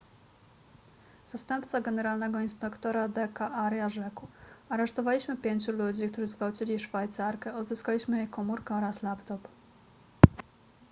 zastępca generalnego inspektora d k arya rzekł aresztowaliśmy pięciu ludzi którzy zgwałcili szwajcarkę odzyskaliśmy jej komórkę oraz laptop